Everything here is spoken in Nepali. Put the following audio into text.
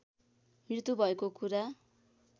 मृत्यु भएको कुरा